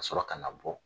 Ka sɔrɔ ka na bɔ